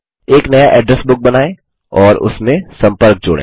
एक नया address book बनाएँ और उसमें सम्पर्क जोड़ें